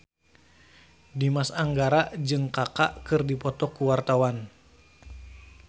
Dimas Anggara jeung Kaka keur dipoto ku wartawan